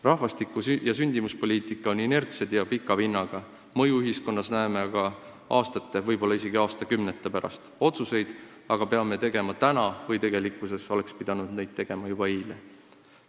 Rahvastiku- ja sündimuspoliitika on inertsed ja pika vinnaga – mõju ühiskonnas näeme aastate, võib-olla isegi aastakümnete pärast –, aga otsuseid peame tegema täna või tegelikkuses oleks pidanud tegema juba eile.